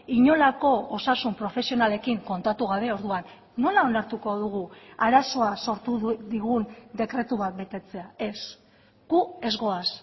inolako osasun profesionalekin kontatu gabe orduan nola onartuko dugu arazoa sortu digun dekretu bat betetzea ez gu ez goaz